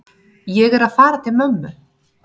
Ég er að fara til mömmu.